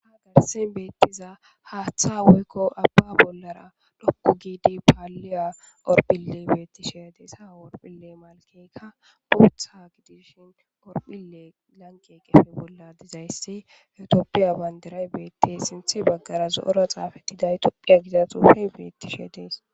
Haysen beetiza haththa woykko abba bollara dhoqu giddi paliya horophile beeteishe detes ha horopileka merayika boththa giddishe issi etiyopiya banidiray guye baggara etiyopiya giza xuffe betes.